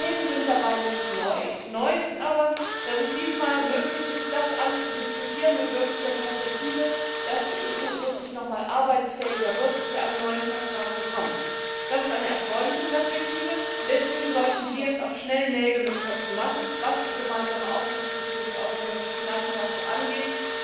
Die Themen sind nicht neu, neu ist aber, dass es diesmal möglich ist, das alles mit der Perspektive zu diskutieren, dass die EU tatsächlich arbeitsfähiger wird, dass wir einen neuen Vertrag bekommen. Das ist eine erfreuliche Perspektive, und deshalb sollten Sie jetzt auch schnell Nägel mit Köpfen machen, was die gemeinsame Aufsichtsstruktur für die europäischen Finanzmärkte angeht,